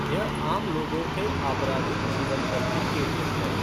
यह आम लोगों के आपराधिक जीवन पर भी केंद्रित है।